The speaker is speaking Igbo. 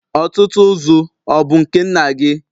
Ọ̀tụ̀tụ̀zụ̀ ọ̀ bụ nke nna gị?